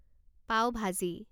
পাও ভাজি